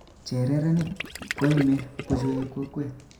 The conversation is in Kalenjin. Chererenik koime buchueb kokwet